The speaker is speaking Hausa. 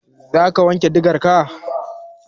Za ka wanke digarka?